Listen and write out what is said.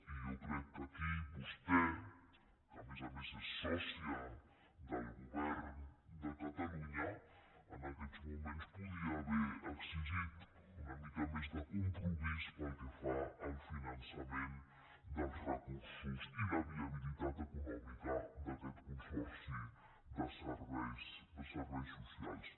i jo crec que aquí vostè que a més a més és sòcia del govern de catalunya en aquests moments podria haver exigit una mica més de compromís pel que fa al finançament dels recursos i la viabilitat econòmi·ca d’aquest consorci de serveis socials